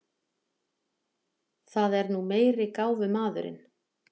Það er nú meiri gáfumaðurinn.